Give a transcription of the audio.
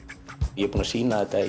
ég er búinn að sýna þetta